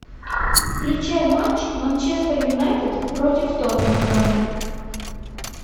включай матч манчестер юнайтед против тоттенхэм